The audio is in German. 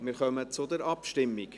Wir kommen zur Abstimmung.